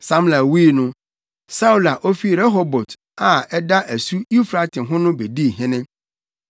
Samla wui no, Saulo a ofi Rehobot a ɛda asu Eufrate ho no bedii hene.